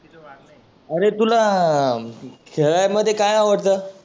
आरे तुला खेळाय मध्ये काय आवडतं?